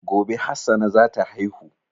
Gobe Hassana zata haihu